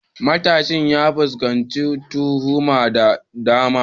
Matashin ya fuskanci tuhuma da dama.